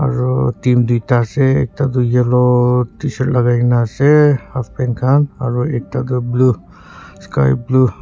aru team duita ase ekta tu yellow tshirt lagaina ase halfpant khan aru ekta du blue sky blue .